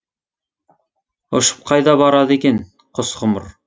ұшып қайда барады екен құс ғұмыр